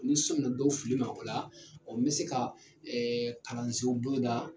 Ni n sɔnna dɔw fili ma o la ɔɔ n be se ka ɛɛ kalansew boloda